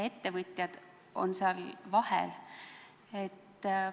Ettevõtjad on seal nende vahel.